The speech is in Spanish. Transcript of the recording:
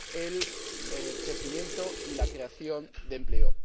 el crecimiento y la creación de empleo.